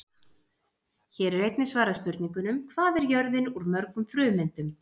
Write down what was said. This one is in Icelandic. Hér er einnig svarað spurningunum: Hvað er jörðin úr mörgum frumeindum?